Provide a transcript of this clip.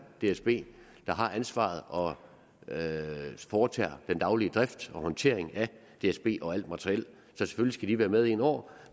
dsb der har ansvaret og foretager den daglige drift og håndtering af dsb og alt materiel så selvfølgelig skal de være med inde over